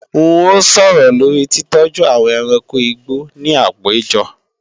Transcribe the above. N ó sọ̀rọ̀ lórí titọ́jú àwọn ẹranko igbó ní àpéjọ